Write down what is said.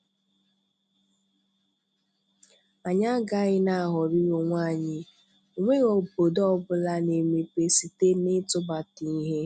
Anyị agaghị n'aghọrị onwe anyị, onweghi obodo ọbụla n'emepe site n'ịtụbata ihe.